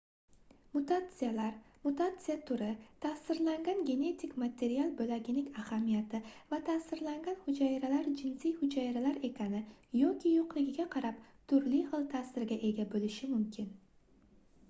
mutatsiyalar mutatsiya turi taʼsirlangan genetik material boʻlagining ahamiyati va taʼsirlangan hujayralar jinsiy hujayralar ekani yoki yoʻqligiga qarab turli xil taʼsirga ega boʻlishi mumkin